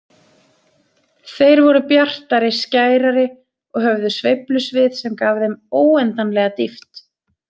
Þeir voru bjartari, skærari og höfðu sveiflusvið sem gaf þeim óendanlega dýpt.